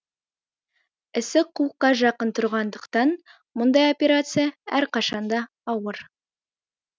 ісік қуыққа жақын тұрғандықтан мұндай операция әрқашанда ауыр